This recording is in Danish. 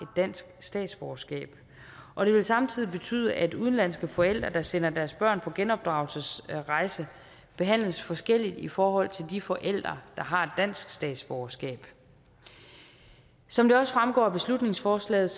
dansk statsborgerskab og det vil samtidig betyde at udenlandske forældre der sender deres børn på genopdragelsesrejse behandles forskelligt i forhold til de forældre der har et dansk statsborgerskab som det også fremgår af beslutningsforslaget